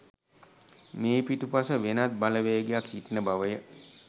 මේ පිටුපස වෙනත් බලවේගයක් සිටින බවය.